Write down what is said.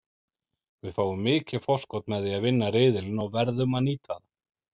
Við fáum mikið forskot með því að vinna riðilinn og verðum að nýta það.